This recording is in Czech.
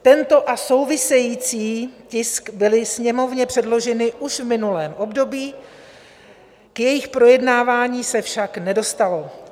Tento a související tisk byly Sněmovně předloženy už v minulém období, k jejich projednávání se však nedostalo.